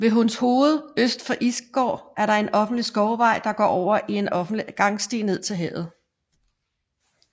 Ved Hundshoved øst for Isgård er der en offentlig skovvej der går over i en offentlig gangsti ned til havet